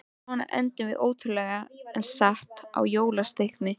Svo endum við, ótrúlegt en satt, á jólasteikinni.